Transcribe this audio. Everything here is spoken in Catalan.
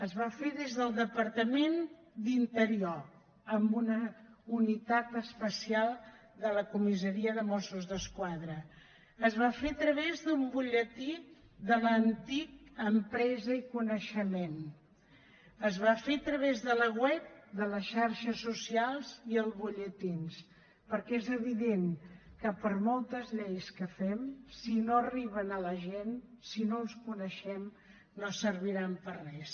es va fer des del departament d’interior amb una unitat especial de la comissaria de mossos d’esquadra es va fer a través d’un butlletí de l’antic empresa i coneixement es va fer a través de la web de les xarxes socials i els butlletins perquè és evident que per moltes lleis que fem si no arriben a la gent si no les coneixem no serviran per a res